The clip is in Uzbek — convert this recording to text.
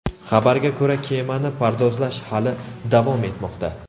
Xabarga ko‘ra, kemani pardozlash hali davom etmoqda.